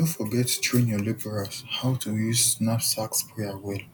no forget train your labourers how to use knapsack sprayer well